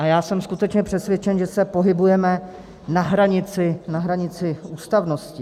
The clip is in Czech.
A já jsem skutečně přesvědčen, že se pohybujeme na hranici ústavnosti.